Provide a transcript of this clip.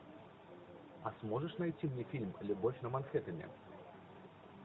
а сможешь найти мне фильм любовь на манхэттене